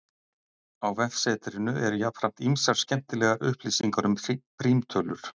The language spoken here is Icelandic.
Á vefsetrinu eru jafnframt ýmsar skemmtilegar upplýsingar um prímtölur.